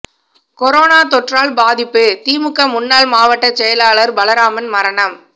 corona தொற்றால் பாதிப்பு திமுக முன்னாள் மாவட்ட செயலாளர் பலராமன் மரணம்